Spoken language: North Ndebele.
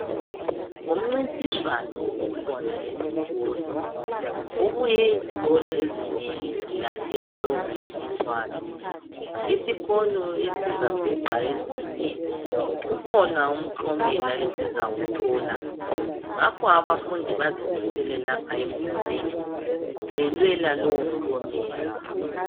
Umncintiswano okhona esikolo, kubuye izikolo ezinengi zilande lowo mncintiswano. Isikolo esizabhuqa ezinye kukhona umklomela esizawuthola ngakho abafundi bazimisele lapha emidlalweni belwela lowo mklomela